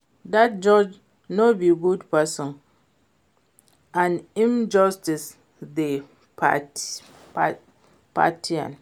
Dat judge no be good person and im judgement dey partial